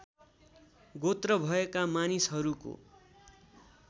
गोत्र भएका मानिसहरूको